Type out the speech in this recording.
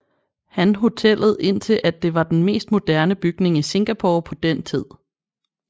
Han hotellet indtil at det var den mest moderne bygning i Singapore på den tid